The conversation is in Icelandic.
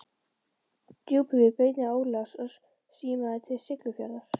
Djúpuvík að beiðni Ólafs og símaði til Siglufjarðar.